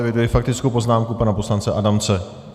Eviduji faktickou poznámku pana poslance Adamce.